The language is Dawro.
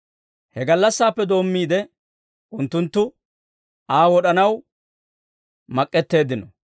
He gallassaappe doommiide, unttunttu Aa wod'anaw mak'k'eteeddino.